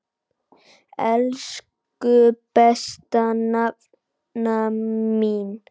Elsku besta nafna mín.